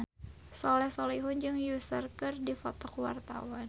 Soleh Solihun jeung Usher keur dipoto ku wartawan